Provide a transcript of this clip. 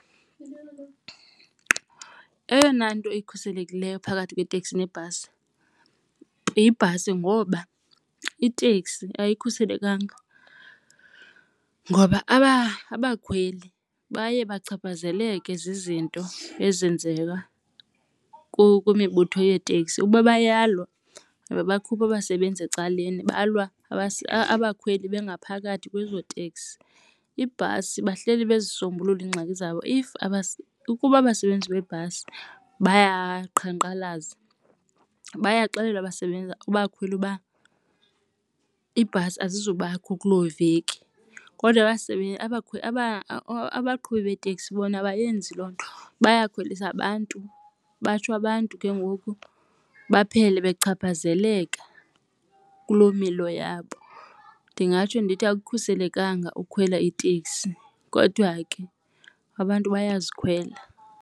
Eyona nto ikhuselekileyo phakathi kweteksi nebhasi yibhasi ngoba iteksi ayikhuselekanga ngoba abakhweli baye bachaphazeleke zizinto ezenzeka kwimibutho yeeteksi. Ukuba bayalwa ababakhuphi abasebenzi ecaleni balwa abakhweli bengaphakathi kwezo teksi. Ibhasi bahleli bezisombulula iingxaki zabo, if ukuba abasebenzi beebhasi bayaqhankqalaza bayaxelelwa abasebenzi, abakhweli uba ibhasi azizubakho kuloo veki. Kodwa abasebenzi abakhweli abaqhubi beeteksi bona abayenzi loo nto bayakhwelisa abantu batsho abantu ke ngoku baphele bechaphazeleka kulo milo yabo. Ndingatsho ndithi akukhuselekanga ukukhwela iteksi kodwa ke abantu bayazikhwela.